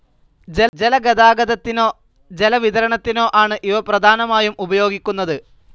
ജലഗതാഗതത്തിനോ ജല വിതരണത്തിനോ ആണ് ഇവപ്രധാനമായും ഉപയോഗിക്കുന്നത്.